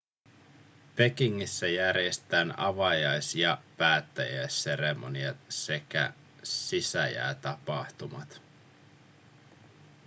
pekingissä järjestetään avajais- ja päättäjäisseremoniat sekä sisäjäätapahtumat